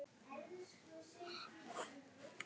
Breki: Hvernig líður þér?